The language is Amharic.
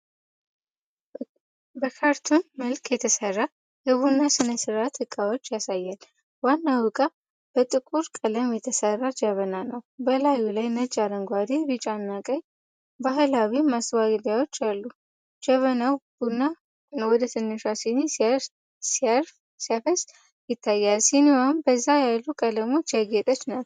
በካርቱን መልክ የተሠራ የቡና ሥነ ሥርዓት ዕቃዎችን ያሳያል። ዋናው ዕቃ በጥቁር ቀለም የተሠራ ጀበና ነው፤ በላዩ ላይ ነጭ፣ አረንጓዴ፣ ቢጫና ቀይ ባህላዊ ማስዋቢያዎች አሉ። ጀበናው ቡና ወደ ትንሿ ሲኒ ሲያፈስ ይታያል፤ ሲኒዋም በዛ ያሉ ቀለሞች ያጌጠች ናት።